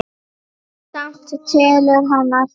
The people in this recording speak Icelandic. Samt telur hann alltaf.